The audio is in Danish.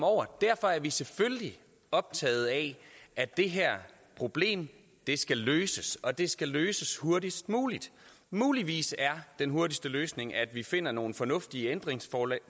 over derfor er vi selvfølgelig optaget af at det her problem skal løses og det skal løses hurtigst muligt muligvis er den hurtigste løsning at vi finder nogle fornuftige ændringsforslag